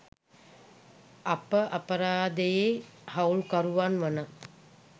අප අපරාධයේ හවුල්කරුවන් වන